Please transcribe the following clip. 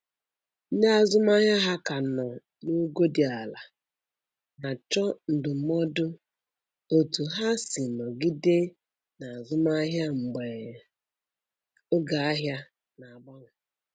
Ndị azụmahịa ha ka nọ n'ogo dị ala na-achọ ndụmọdụ otú ha si nọgide n'azụmahịa mgbe oge ahia na-agbanwe.